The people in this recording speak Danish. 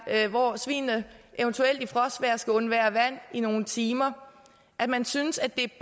her hvor svinene eventuelt i frostvejr skal undvære vand i nogle timer at man synes at det